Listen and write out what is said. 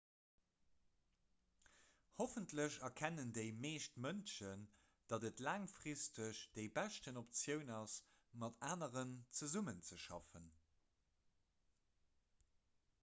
hoffentlech erkennen déi meescht mënschen datt et laangfristeg déi bescht optioun ass mat aneren zesummezeschaffen